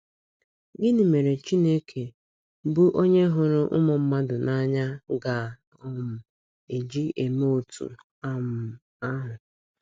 Gịnị mere Chineke, bụ́ onye hụrụ ụmụ mmadụ n’anya, ga um - eji eme otú um ahụ?